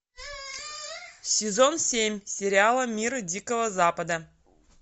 сезон семь сериала мира дикого запада